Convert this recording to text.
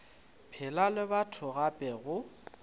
phela le batho gape go